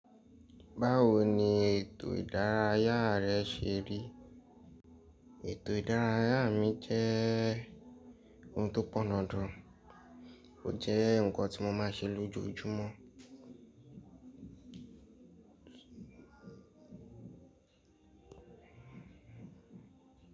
Báwo ni ètò ìdárayá rẹ ṣe rí? Ètò ìdárayá mi jẹ́ ohun tó pọn dandan, ó jẹ́ ǹkan tí mo máa n ṣe lójoojúmọ́.